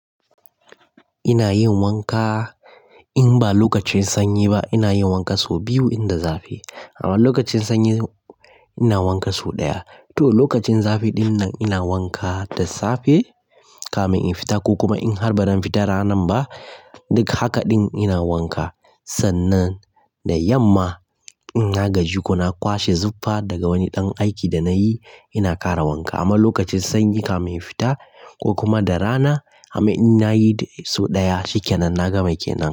Ina yin wanka, in ba lokacin sanyi ba ina yin wanka so biyu in da zafi. Amma lokacin sanyi ina wanka so ɗaya. To lokacin zafi dinnan ina wanka da safe kafin in fita ko kuma in har ba zan fita ranan ba duk hakaɗin ina wanka. Sannan da yamma in na gaji ko na kwashe zufa daga wani ɗan aiki da nayi ina ƙara wanka. Amma lokacin sanyi kafin in fita ko kuma da rana amma ina yi so ɗaya, shikenan na gama kenan.